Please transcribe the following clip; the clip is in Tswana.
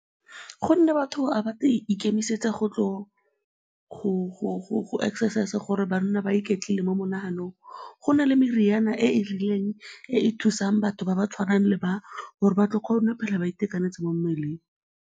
Gonne batho ga ba ikemisetsa go tla go exercise-a gore ba nne ba iketlile mo monaganong. Go na le meriana e e rileng e e thusang batho ba ba tshwanang le ba gore ba tlo kgona go tshela ba itekanetse mo mmeleng.